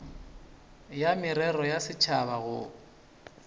ya merero ya setšhaba go